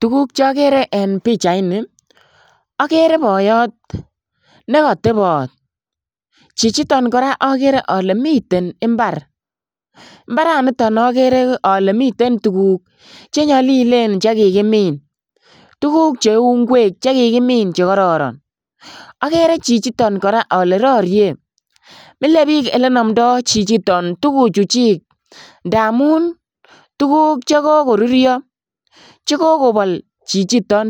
Tuguk chokere en pichaini okere boyot nekotebot chichiton koraa okere ole miten imbar, imbaranito okere ole miten tuguk chenyolilen chekakimin, tuguk cheu inkwek chekikimin chekororon, okere chichiton koraa ole rorie mile bik elenomdo chichiton tuguchu chik ndamun tuguk chekokorurio chekokobol chichiton